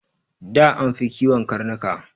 Da an fi kiwon karnuka.